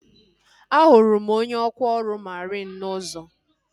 A hụrụ m onye ọkwa ọrụ mariin n'ụzọ